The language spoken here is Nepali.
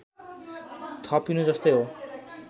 थपिनु जस्तै हो